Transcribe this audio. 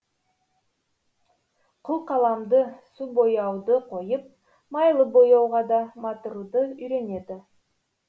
қылқаламды су бояуды қойып майлы бояуға да матыруды үйренеді